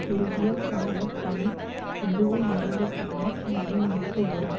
குறுகிய கால பணி எதுவும் முடிந்த பின்னர் நடைமுறைக்கு வரும்